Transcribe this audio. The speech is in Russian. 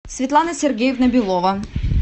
светлана сергеевна белова